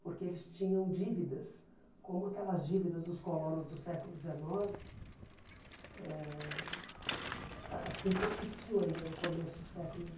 porque eles tinham dívidas, como aquelas dívidas dos colonos do século dezenove ãh, assim persistiu ainda no começo do século